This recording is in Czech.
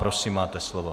Prosím, máte slovo.